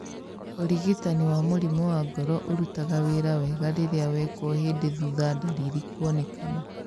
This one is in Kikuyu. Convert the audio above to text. ũrigitani wa mũrimũ wa ngoro ũrutaga wĩra wega rĩrĩa wekwo hĩndĩ thutha ndariri kuonekana